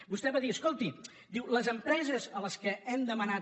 vostè va dir escolti diu les empreses a què hem demanat